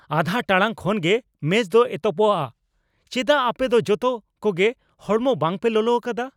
ᱟᱫᱷᱟ ᱴᱟᱲᱟᱝ ᱠᱷᱟᱱ ᱜᱮ ᱢᱮᱪ ᱫᱚ ᱮᱛᱚᱦᱚᱯᱚᱜᱼᱟ ᱾ ᱪᱮᱫᱟᱜ ᱟᱯᱮ ᱫᱚ ᱡᱚᱛᱚ ᱠᱚᱜᱮ ᱦᱚᱲᱢᱚ ᱵᱟᱝ ᱯᱮ ᱞᱚᱞᱚ ᱟᱠᱟᱫᱟ ?